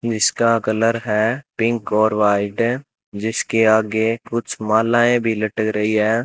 जिसका कलर है पिंक और व्हाइट इसके आगे कुछ मलाएं भी लटक रही है।